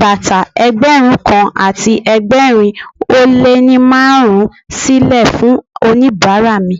bàtà Ẹgbẹ̀rún kan àti ẹgbẹ̀rin ó lé ní márùn-ún sílè fún oníbàárà mi.